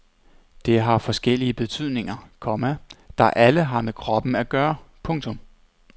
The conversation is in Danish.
Det har forskellige betydninger, komma der alle har med kroppen at gøre. punktum